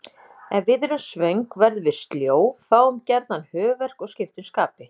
Ef við erum svöng verðum við sljó, fáum gjarnan höfuðverk og skiptum skapi.